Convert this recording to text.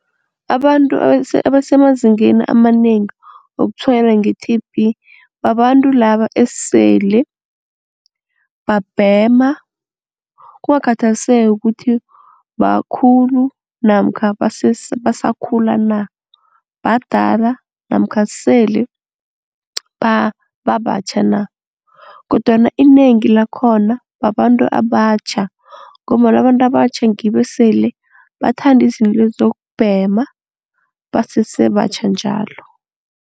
Abantu abasemazingeni amanengi wokutshwayeleka nge-T_B babantu laba esele babhema kungakhathaliseki ukuthi bakhulu namkha basakhula na. Badala namkha sele babatjha na kodwana inengi lakhona babantu abatjha ngombana abantu abatjha ngibo esele bathanda izinto lezi zokubhema basese batjha njalo.